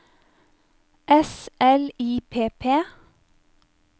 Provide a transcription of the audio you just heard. S L I P P